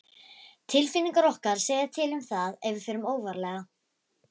Tilfinningar okkar segja til um það ef við förum óvarlega.